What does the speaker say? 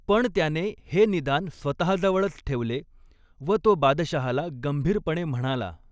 पण त्याने हे निदान स्वतःजवळच ठेवले व तो बादशहाला गंभीरपणे म्हणाला.